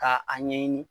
Ka a ɲɛɲini